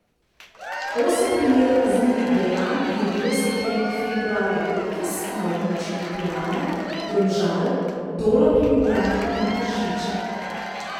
Osem primerov kaznivih dejanj je bilo storjenih februarja letos na območju Ljubljane, Domžal, Dola pri Ljubljani in Tržiča.